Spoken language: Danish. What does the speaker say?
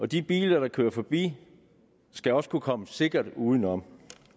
de biler der kører forbi skal også kunne komme sikkert udenom